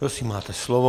Prosím, máte slovo.